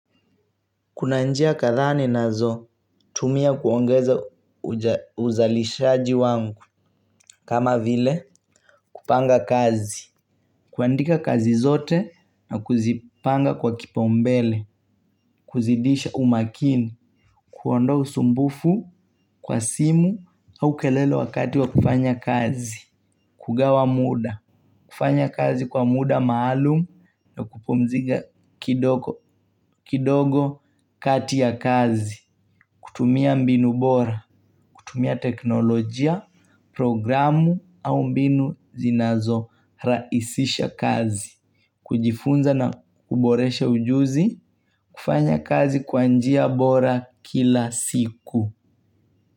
Kuna njia kadhaa ninazo tumia kuongeza uzalishaji wangu kama vile kupanga kazi. Kuandika kazi zote na kuzipanga kwa kipa umbele, kuzidisha umakini, kuondoa usumbufu kwa simu au kelele wakati wa kufanya kazi. Kugawa muda, kufanya kazi kwa muda maalumu na kupumzika kidogo kati ya kazi. Kutumia mbinu bora, kutumia teknolojia, programu au mbinu zinazo raisisha kazi. Kujifunza na kuboresha ujuzi, kufanya kazi kwa njia bora kila siku.